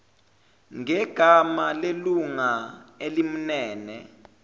ngegama lelunga elimmele